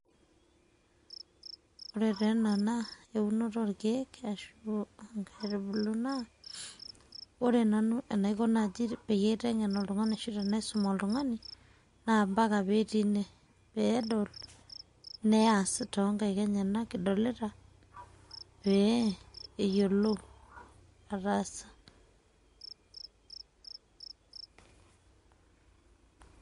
ore te ena naa eunoto orkiek ashu nkaitubulu. naa ore nanu enaiko naji tenaitengen oltungani ashu tenaisum oltungani na mpaka peetii ine peedol neas toonkaik enyenak adolita pee eyiolou ataasa.